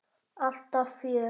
Alltaf fjör.